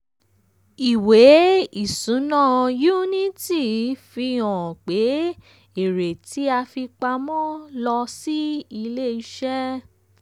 ìwé isuna unity fi hàn pé èrè tí a fi pamọ́ lọ sí ilé iṣẹ́.